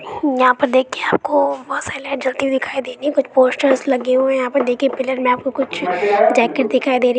यहां पर देखिए दिखिए आपको बोहोत सारी लाइट जलती हुई दिखाई देंगी कुछ पोस्टर लगे हुए है यहाँ पर देखिए पिलर में आपको कुछ जाकेट दिखाई दे रहीं --